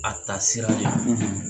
A ta sira